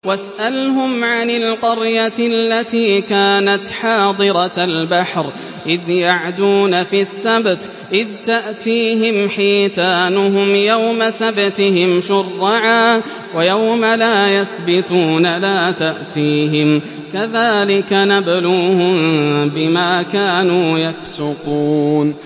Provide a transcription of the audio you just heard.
وَاسْأَلْهُمْ عَنِ الْقَرْيَةِ الَّتِي كَانَتْ حَاضِرَةَ الْبَحْرِ إِذْ يَعْدُونَ فِي السَّبْتِ إِذْ تَأْتِيهِمْ حِيتَانُهُمْ يَوْمَ سَبْتِهِمْ شُرَّعًا وَيَوْمَ لَا يَسْبِتُونَ ۙ لَا تَأْتِيهِمْ ۚ كَذَٰلِكَ نَبْلُوهُم بِمَا كَانُوا يَفْسُقُونَ